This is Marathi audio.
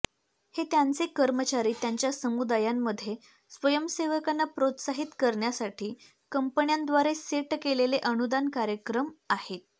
हे त्यांचे कर्मचारी त्यांच्या समुदायांमध्ये स्वयंसेवकांना प्रोत्साहित करण्यासाठी कंपन्यांद्वारे सेट केलेले अनुदान कार्यक्रम आहेत